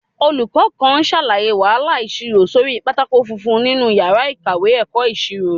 Olùkọ́ kan ṣàlàyé wàhálà ìṣirò sórí pátákó funfun nínú yàrá ìkàwé ẹ̀kọ́ ìṣirò